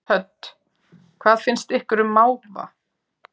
Hödd: Hvað finnst ykkur um máva?